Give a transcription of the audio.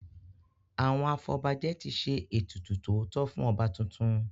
Àwọn afọbajẹ ti ṣe ètùtù tótọ́ fún ọba tuntun.